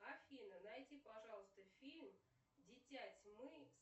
афина найди пожалуйста фильм дитя тьмы